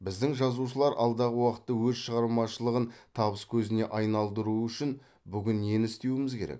біздің жазушылар алдағы уақытта өз шығармашылығын табыс көзіне айналдыруы үшін бүгін нені істеуіміз керек